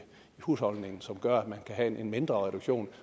husholdningen som gør at man kan have en mindre reduktion